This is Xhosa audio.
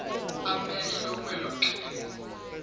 amehlo kwelo xhego